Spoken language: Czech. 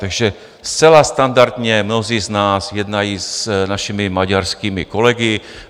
Takže zcela standardně mnozí z nás jednají s našimi maďarskými kolegy.